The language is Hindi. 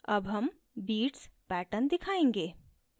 अब हम beats pattern दिखायेंगे